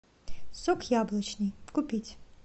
сок яблочный купить